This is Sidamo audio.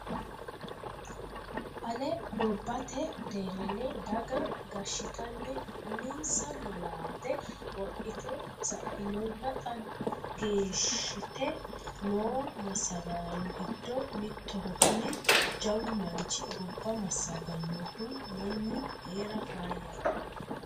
Ale gobbate deerrinni daga gashittani uminsa malaate wodhite sainonna xa gashshite no massagaano giddo mittoho kuni jawu manchi gobba massaganohu mannu heera faayyate.